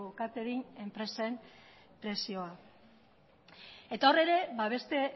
catering enpresen presioa eta hor ere beste